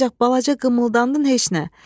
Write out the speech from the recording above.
Ancaq balaca qımıldandın heç nə.